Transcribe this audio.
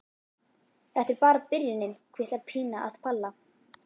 Þetta er bara byrjunin, hvíslar Pína að Palla.